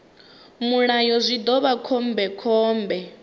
mulayo zwi ḓo vha khombekhombe